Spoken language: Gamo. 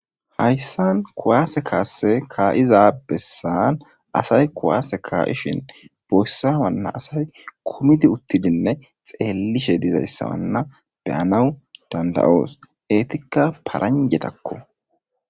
Hayssan kuwaase kaasse kaa7izayssa asay kuwaase kaa7ishen boyssa waanna asay kumidi uththidinne xeellishe dizayssa nu ba7anawu dandda7oos; eethikka paranjjathakkoo.